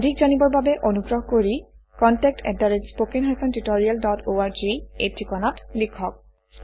অধিক জানিবৰ বাবে অনুগ্ৰহ কৰি কণ্টেক্ট আত spoken hyphen tutorial dot org - এই ঠিকনাত লিখক